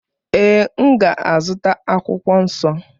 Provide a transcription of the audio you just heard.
Ee, m ga-azụta akwụkwọ nsọ.